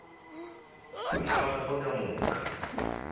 bana ba gagwe ka moka